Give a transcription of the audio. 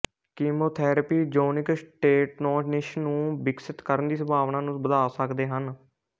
chemotherapy ਯੋਨਿਕ stenosis ਨੂੰ ਵਿਕਸਿਤ ਕਰਨ ਦੀ ਸੰਭਾਵਨਾ ਨੂੰ ਵਧਾ ਸਕਦੇ ਹਨ